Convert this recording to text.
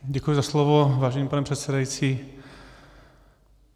Děkuji za slovo, vážený pane předsedající.